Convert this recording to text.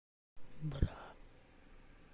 бра